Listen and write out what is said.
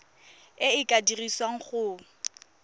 e e ka dirisiwang go